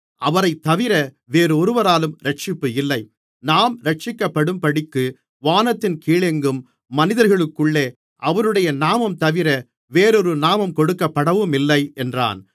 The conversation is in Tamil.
அவரைத்தவிர வேறொருவராலும் இரட்சிப்பு இல்லை நாம் இரட்சிக்கப்படும்படிக்கு வானத்தின் கீழெங்கும் மனிதர்களுக்குள்ளே அவருடைய நாமம்தவிர வேறொரு நாமம் கொடுக்கப்படவுமில்லை என்றான்